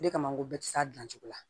O de kama n ko bɛɛ tɛ s'a dilan cogo la